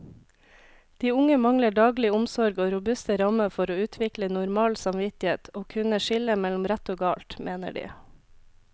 De unge mangler daglig omsorg og robuste rammer for å utvikle normal samvittighet og kunne skille mellom rett og galt, mener de.